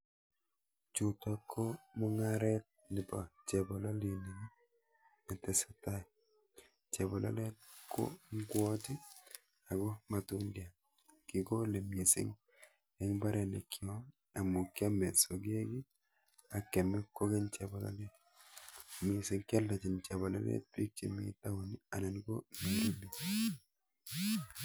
Chutok ko mung'aret nepo chepololinik netesetai. chepololet ko ng'wot ako matundiat. Kekole mising eng mbaronikyo amu kiome sogek ak kyome kokeny chepololet. Mising kealdochin chepololet biik chemi town anan ko Nairobi.